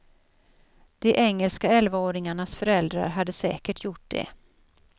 De engelska elvaåringarnas föräldrar hade säkert gjort det.